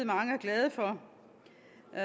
at